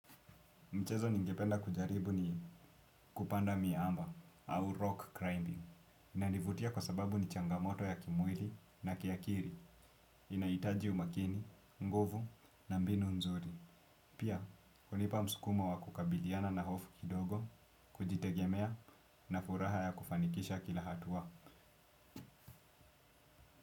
Mchezo ningependa kujaribu ni kupanda miamba au rock climbing. Inanivutia kwa sababu ni changamoto ya kimwili na kiakili. Inahitaji umakini, nguvu na mbinu nzuri. Pia, hunipa msukumo wa kukabiliana na hofu kidogo. Kujitegemea na furaha ya kufanikisha kila hatua.